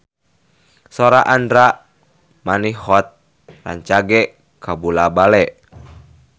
Sora Andra Manihot rancage kabula-bale